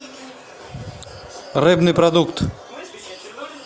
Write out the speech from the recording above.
рыбный продукт